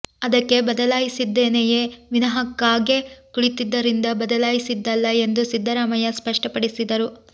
ಅದಕ್ಕೆ ಬದಲಾಯಿಸಿದ್ದೇನೆಯೇ ವಿನಃ ಕಾಗೆ ಕುಳಿತಿದ್ದರಿಂದ ಬದಲಾಯಿಸಿದ್ದಲ್ಲ ಎಂದು ಸಿದ್ದರಾಮಯ್ಯ ಸ್ಪಷ್ಟಪಡಿಸಿದರು